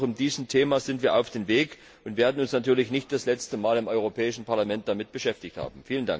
Das heißt, auch bei diesem Thema sind wir auf dem Weg und werden uns natürlich nicht das letzte Mal im Europäischen Parlament damit beschäftigt haben.